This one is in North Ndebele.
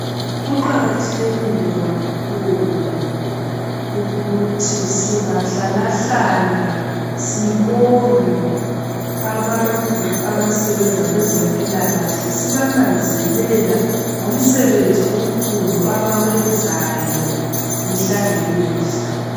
Kuqakathekile kakhulu ukuthi singahlalahlala sibonge abantu abasebenza kwezempilakahle sibananzelela ngomsebenzi omkhulu abawenzayo mihla ngemihla